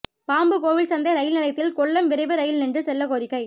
Pambukovil Santhai rail நிலையத்தில் கொல்லம் விரைவு rail நின்று செல்ல கோரிக்கை